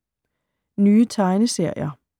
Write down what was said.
Nye tegneserier